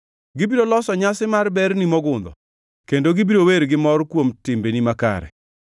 Gibiro loso nyasi mar ber ni mogundho kendo gibiro wer gi mor kuom timbeni makare.